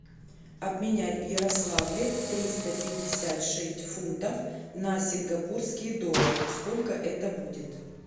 обменять в ярославле триста пятьдесят шесть фунтов на сингапурские доллары сколько это будет